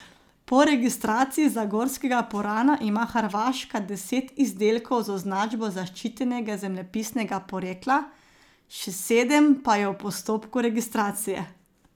Po registraciji zagorskega purana ima Hrvaška deset izdelkov z označbo zaščitenega zemljepisnega porekla, še sedem pa je v postopku registracije.